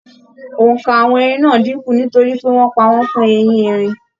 Óńka àwọn ẹrin náà n dínkù nítorí pé wọn pa wọn fun ehin-erin